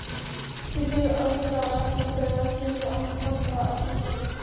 Mér gengur ágætlega að safna fyrir lækningu handa Arnari.